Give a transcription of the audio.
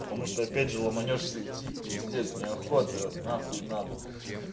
потому что опять же ломанёшься идти пиздец неохота нахуй надо